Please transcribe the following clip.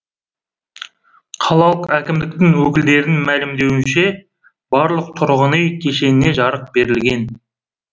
қалалық әкімдік өкілдерінің мәлімдеуінше барлық тұрғын үй кешеніне жарық берілген